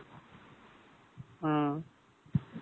ஆ